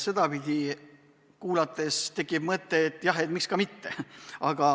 Sedapidi kuulates tekib mõte, et jah, et miks ka mitte.